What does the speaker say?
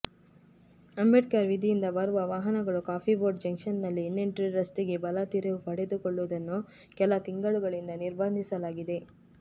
ಅಂಬೇಡ್ಕರ್ ವೀದಿಯಿಂದ ಬರುವ ವಾಹನಗಳು ಕಾಫಿ ಬೋರ್ಡ್ ಜಂಕ್ಷನ್ನಲ್ಲಿ ಇನ್ಫೆಂಟ್ರಿ ರಸ್ತೆಗೆ ಬಲ ತಿರುವು ಪಡೆದುಕೊಳ್ಳುವುದನ್ನು ಕೆಲ ತಿಂಗಳುಗಳಿಂದ ನಿರ್ಬಂಧಿಸಲಾಗಿದೆ